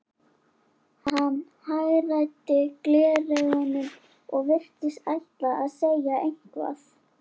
Hann hagræddi gleraugunum og virtist ætla að segja eitthvað.